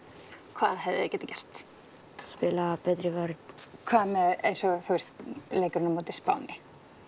hvað hefðu þeir getað gert spilað betri vörn hvað með eins og leikinn á móti Spáni